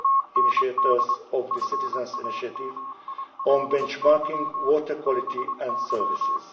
the initiators of the Citizens' Initiative on benchmarking water quality and services.